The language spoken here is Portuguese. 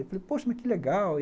Eu falei, poxa, mas que legal.